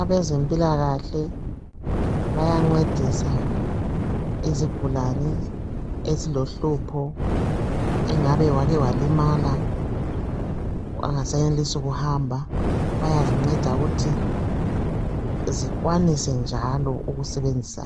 Abazempilakahle bayancedisa izigulane ezilohlupho engabe wake walimalaa akasayenelisi ukuhamba bayazinceda ukuthi zikwanise njalo ukusebenzisa